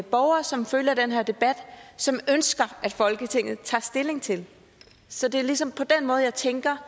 borgere som følger den her debat ønsker at folketinget tager stilling til det så det er ligesom på den måde jeg tænker